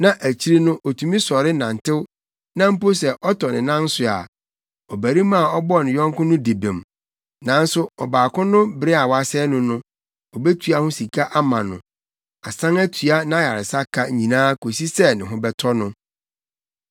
na akyiri no, otumi sɔre nantew na mpo sɛ ɔtɔ ne nan so a, ɔbarima a ɔbɔɔ ne yɔnko no di bem, nanso ɔbaako no bere a wasɛe no no, obetua ho sika ama no, asan atua nʼayaresa ka nyinaa kosi sɛ ne ho bɛtɔ no.